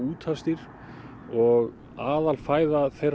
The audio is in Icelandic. og aðalfæða þeirra er smokkfiskur